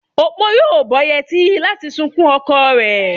Opo yóò bó yetí láti sunkún oko ree.